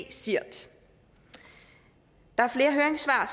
csirt der er flere høringssvar